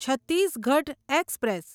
Chhattisgarh express